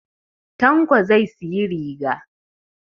Tanko zai siyi riga